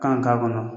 Kan k'a kɔnɔ